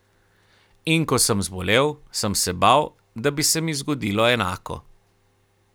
In ko sem zbolel, sem se bal, da bi se mi zgodilo enako.